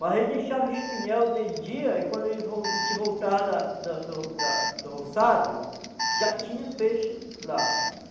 Mas aí deixava o espinhal de dia e quando ele a gente voltava da da do da do roçado, já tinha peixe lá.